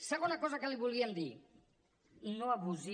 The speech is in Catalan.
segona cosa que li volíem dir no abusi